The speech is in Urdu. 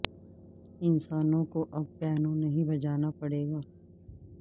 انسانوں کو اب پیانو نہیں بجانا پڑے گا